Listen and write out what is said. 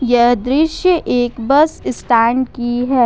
यह दृश्य एक बस स्टैंड की है ।